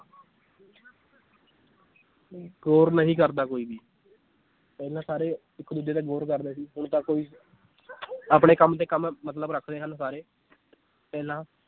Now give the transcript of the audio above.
ਗੋਰ ਨਹੀਂ ਕਰਦਾ ਕੋਈ ਵੀ ਪਹਿਲਾਂ ਸਾਰੇ ਇੱਕ ਦੂਜੇ ਤੇ ਗੋਰ ਕਰਦੇ ਸੀ ਹੁਣ ਤਾਂ ਕੋਈ ਆਪਣੇ ਕੰਮ ਤੇ ਕੰਮ ਮਤਲਬ ਰੱਖਦੇ ਹਨ ਸਾਰੇ ਪਹਿਲਾਂ